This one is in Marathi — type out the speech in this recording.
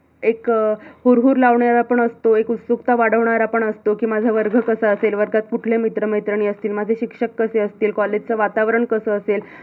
एक हुरहुर लावणारा पण असतो, एक उत्सुकता वाढवणारा पण असत की, माझा वर्ग कसा असेल, वर्गात कुठले मित्र-मैत्रिणी असतील, माझ शिक्षक कसे असतील college वातावरण कस असल माझ